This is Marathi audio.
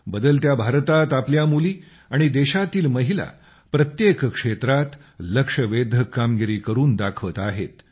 बदलत्या भारतात आपल्या मुली आणि देशातील महिला प्रत्येक क्षेत्रात लक्षवेधक कामगिरी करुन दाखवत आहेत